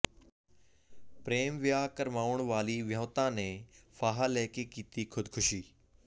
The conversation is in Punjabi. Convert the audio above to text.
ਪ੍ਰੇਮ ਵਿਆਹ ਕਰਵਾਉਣ ਵਾਲੀ ਵਿਆਹੁਤਾ ਨੇ ਫਾਹਾ ਲੈ ਕੇ ਕੀਤੀ ਖ਼ੁਦਕੁਸ਼ੀ